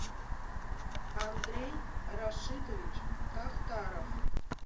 андрей рашитович тахтаров